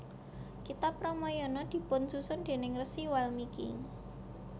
Kitab Ramayana dipunsusun déning Rsi Walmiki